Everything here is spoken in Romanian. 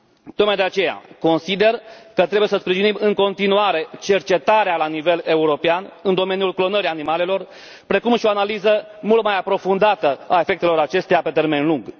Tocmai de aceea, consider că trebuie să sprijinim în continuare cercetarea la nivel european în domeniul clonării animalelor, precum și o analiză mult mai aprofundată a efectelor acesteia pe termen lung.